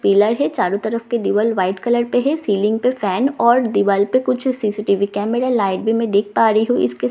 pillar है चारों तरफ़ के दिवाल वाइट कलर पे है सीलिंग पर फैन और दिवाल पे कुछ सी_सी_टी_वी कैमरा लाइट भी मैं देख पा रही हूं इसके साथ कुछ--